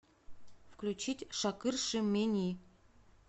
включить шакыршы мени